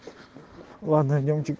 ладно идём